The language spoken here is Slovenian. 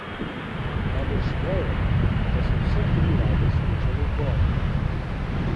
Najbrž vejo, da so vse tri rade smučale v gorah.